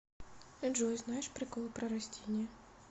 джой знаешь приколы про растения